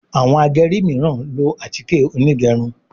Àwọn ageri miran ló atike Onigerun